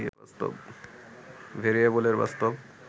ভেরিয়েবলের বাস্তব